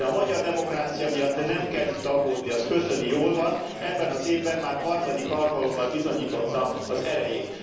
De a magyar demokrácia miatt nem kell itt aggódni, az köszöni, jól van, ebben az évben már harmadik alkalommal bizonyította az erejét.